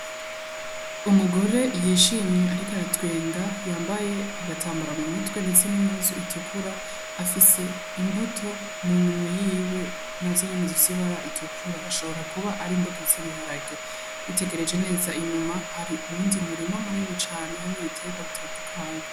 Umugore yishimye ariko aratwenga, yambaye agatambara m'umutwe ndetse n'impuzu itukura, afise imbuto muminwe yiwe nazo nyene zifise ibara itukura ashobora kuba ari imbuto z'ibiharage, witegereje neza inyuma hari uwundi murima munini cane harimwo ibiterwa bitandukanye.